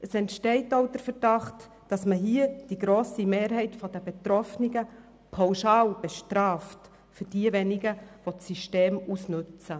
Es entsteht der Verdacht, dass man hier die grosse Mehrheit der Betroffenen pauschal bestraft für diejenigen, die das System ausnutzen.